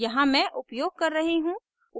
यहाँ मैं उपयोग कर रही हूँ